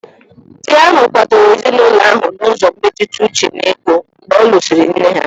Nwunye ahụ kwadoro ezinụlọ ahụ n'ụzọ mmetụta uche na ego mgbe ọ lụsịrị nne ha.